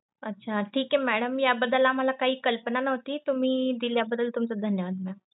अच्छा ठीक आहे madam याबद्दल आम्हाला काही कल्पना नव्हती तुम्ही दिल्याबद्दल तुमचं धन्यवाद mam.